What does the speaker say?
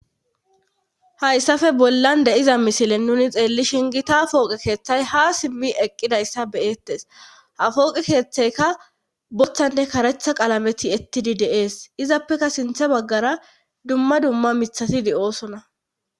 Hayssafe bollan de7iza misile nuni xeelli shingi ta pooqe keeththay ha simmi eqqidayssa beyettes ha fooqe keeththeyka bothanne karetha qalameti ettidi deees izappeka sintha baggara dumma dumma mithatidi oosona.